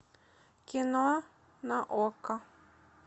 кино на окко